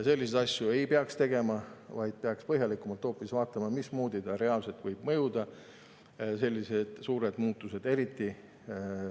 Selliseid asju ei peaks tegema, vaid peaks hoopis põhjalikumalt vaatama, mismoodi sellised suured muutused reaalselt võivad mõjuda.